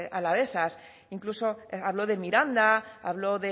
alavesas incluso habló de miranda habló